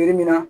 Yiri min na